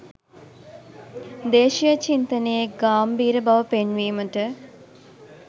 දේශීය චින්තනයේ ගාම්භීර බව පෙන්වීමට